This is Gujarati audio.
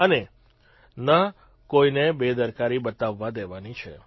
અને ન કોઇને બેદરકારી બતાવવા દેવાની છે